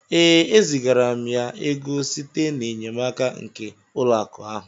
Ee, e zigara m ya ego site n'enyemaka nke ụlọ akụ ahụ